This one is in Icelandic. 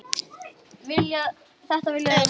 Þetta vilja þau vera.